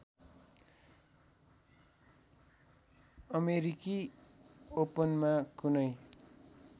अमेरिकी ओपनमा कुनै